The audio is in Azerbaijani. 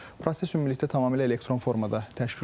Proses ümumilikdə tamamilə elektron formada təşkil olunub.